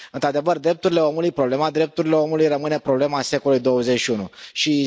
Într adevăr drepturile omului, problema drepturilor omului rămâne problema secolului XXI.